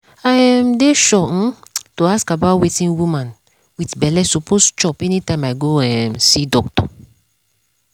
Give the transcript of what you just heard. i um dey sure um to ask about wetin woman wit belle suppose chop anytime i go um see doctor